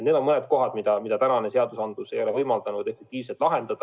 Need on mõned lüngad, mida praegune seadustik ei ole võimaldanud efektiivselt täita.